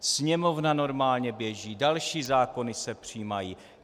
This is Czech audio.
Sněmovna normálně běží, další zákony se přijímají.